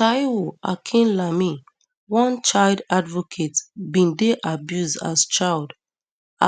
taiwo akinlami one child advocate bin dey abused as child